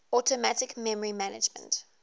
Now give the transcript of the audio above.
automatic memory management